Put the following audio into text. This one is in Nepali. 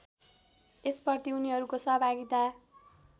यसप्रति उनीहरूको सहभागिता